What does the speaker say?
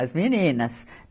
As meninas.